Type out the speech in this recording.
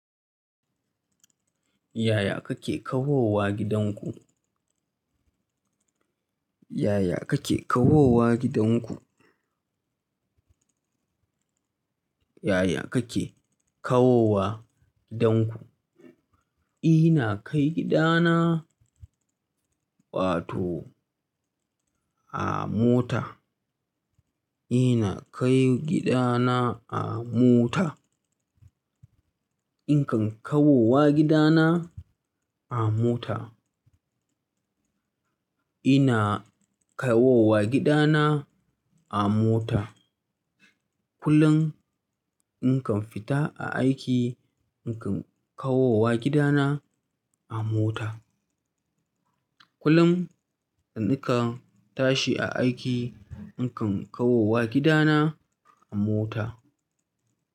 Yaya kake kawowa gidanku? Yaya kake kawowa gidanku? Yaya kake kawowa gidanku? Ina kai gidana, wato a mota. Ina kai gidana a mota. Ni kan kawowa gidana a mota. Ina kawowa gidana a mota. Kulun in kan fita a aiki, nikan kawowa gidana a mota. Kulun da nika tashi a aiki, nikan kawowa gidana a mota.